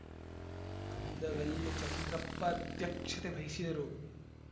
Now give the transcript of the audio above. ಕಂದಗಲ್ಲು ಚಂದ್ರಪ್ಪ ಅಧ್ಯಕ್ಷತೆ ವಹಿಸಿದರು